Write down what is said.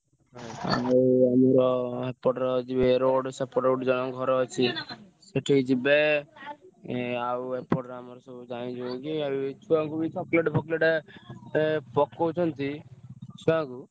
ଆଉ ଆମର ସେପଟେ ଯିବେ road ସେପଟରେ ଯିବେ ସେଠିକି ଯିବେ ଆଉ ଏପଟରେ ଆମର ଯାଇଛୁ ଏମତି ଛୁଆଙ୍କୁ ବି chocolate ଫାକଲେଟ ପକାଉଛନ୍ତି ଛୁଆ ଙ୍କୁ।